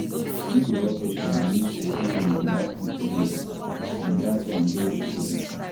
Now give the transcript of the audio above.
no be all patients believe say healing dey happen the same way — and that one dey okay like that.